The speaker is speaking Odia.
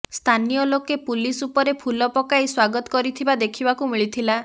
ସ୍ଥାନୀୟ ଲୋକେ ପୁଲିସ ଉପରେ ଫୁଲ ପକାଇ ସ୍ବାଗତ କରିଥିବା ଦେଖିବାକୁ ମିଳିଥିଲା